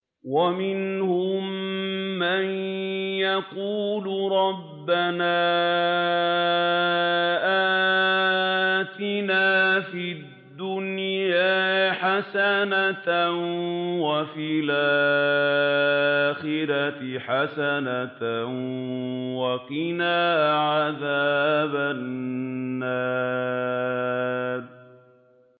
وَمِنْهُم مَّن يَقُولُ رَبَّنَا آتِنَا فِي الدُّنْيَا حَسَنَةً وَفِي الْآخِرَةِ حَسَنَةً وَقِنَا عَذَابَ النَّارِ